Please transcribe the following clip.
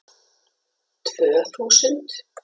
Tvö þúsund